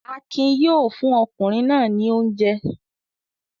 Akin yóò fún ọkùnrin náà ní oúnjẹ.